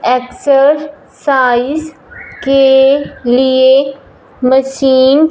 exercise के लिए machine --